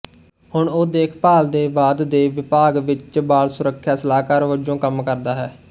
ਹੁਣ ਉਹ ਦੇਖਭਾਲ ਦੇ ਬਾਅਦ ਦੇ ਵਿਭਾਗ ਵਿੱਚ ਬਾਲ ਸੁਰੱਖਿਆ ਸਲਾਹਕਾਰ ਵਜੋਂ ਕੰਮ ਕਰਦਾ ਹੈ